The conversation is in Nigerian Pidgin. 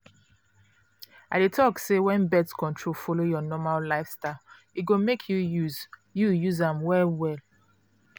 i dey talk say when birth control follow your normal lifestyle e go make you use you use am well well.